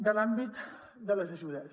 de l’àmbit de les ajudes